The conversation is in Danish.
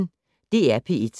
DR P1